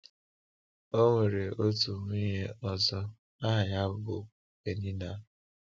Ọ nwere otu nwunye ọzọ aha ya bụ Peninnah.